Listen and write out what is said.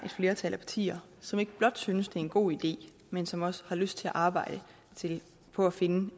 flertal af partier som ikke blot synes det er en god idé men som også har lyst til at arbejde på at finde